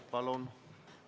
Palun!